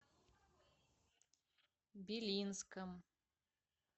белинском